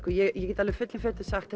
ég get alveg fullum fetum sagt